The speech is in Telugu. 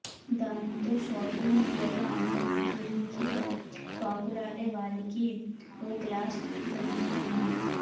దాంతో సోషల్ మీడియాలో ఆమె గురించి పాకులాడే వాళ్లకి ఓ క్లాస్ దంచుకున్నాడు